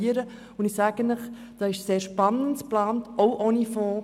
Ich kann Ihnen sagen, dass hier auch ohne Fonds sehr spannende Dinge geplant sind.